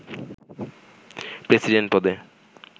president পদে